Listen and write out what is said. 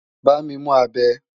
Bámi mú abẹ!